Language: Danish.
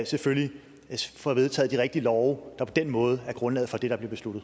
selvfølgelig får vedtaget de rigtige love der på den måde er grundlaget for det der bliver besluttet